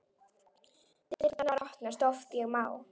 Dyrnar opna oft ég má.